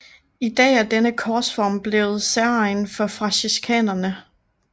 I dag er denne korsform blevet særegen for franciskanerne